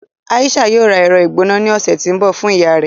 Aisha yóò rà ẹrọ-igbona ni ọsẹ ti ńbọ fun iyà rẹ.